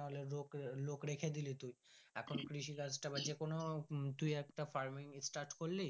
নাহলে লোক লোক রাখে দিলি তুই এখন কৃষি কাজটাই বা যে কোনো তুই একটা farming start করলি.